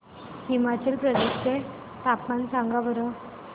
हिमाचल प्रदेश चे तापमान सांगा बरं